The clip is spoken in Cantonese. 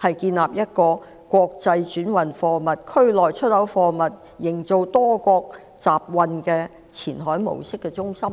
區建立一個國際轉運貨物、區內出口貨物，營造多國集運的前海模式中心。